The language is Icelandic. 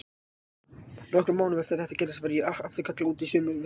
Nokkrum mánuðum eftir að þetta gerðist var ég aftur kallaður út í sömu verslun.